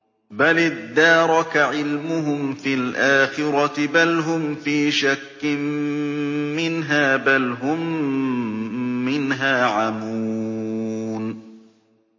بَلِ ادَّارَكَ عِلْمُهُمْ فِي الْآخِرَةِ ۚ بَلْ هُمْ فِي شَكٍّ مِّنْهَا ۖ بَلْ هُم مِّنْهَا عَمُونَ